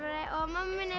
minn er